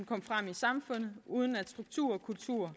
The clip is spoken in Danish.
samfundet uden at struktur kultur